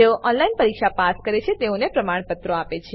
જેઓ ઓનલાઈન પરીક્ષા પાસ કરે છે તેઓને પ્રમાણપત્રો આપે છે